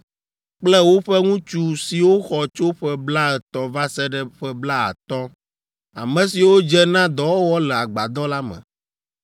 kple woƒe ŋutsu siwo xɔ tso ƒe blaetɔ̃ va se ɖe ƒe blaatɔ̃, ame siwo dze na dɔwɔwɔ le agbadɔ la me.